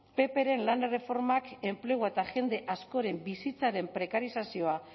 ppren lan erreformak enplegu eta jende askoren bizitzaren prekarizazioa